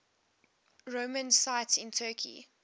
roman sites in turkey